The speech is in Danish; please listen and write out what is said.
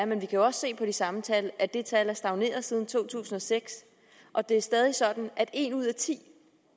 er men vi kan også se på de samme tal at det tal er stagneret siden to tusind og seks og det er stadig sådan at en ud af ti